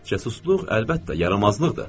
Cəsusluq, əlbəttə, yaramazlıqdır.